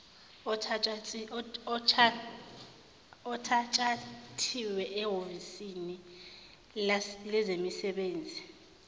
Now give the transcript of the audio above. othatshathiwe ehhovisini lezemisebenzi